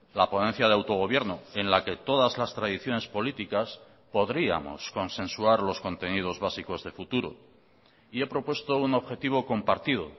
la ponencia de autogobierno en la que todas las tradiciones políticas podríamos consensuar los contenidos básicos de futuro y he propuesto un objetivo compartido